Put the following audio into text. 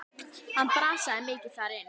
Hann brasaði mikið þar inni.